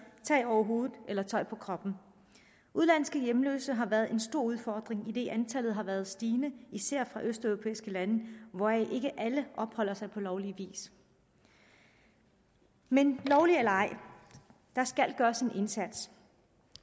tag over hovedet eller tøj på kroppen udenlandske hjemløse har været en stor udfordring idet antallet har været stigende især fra østeuropæiske lande hvoraf ikke alle opholder sig på lovlig vis men lovligt eller ej der skal gøres en indsats